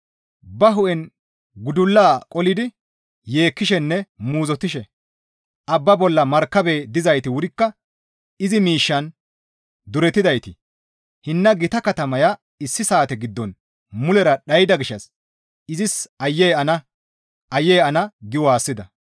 Ba hu7en gudulla qolidi yeekkishenne muuzottishe, «Abba bolla markabey dizayti wurikka izi miishshaan duretidayti, hinna gita katamaya issi saate giddon mulera dhayda gishshas izis Aayye ana! Aayye ana!» gi waassida.